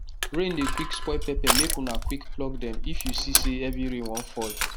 rain dey quick spoil pepper make una quick pluck them if you see say heavy rain wan fall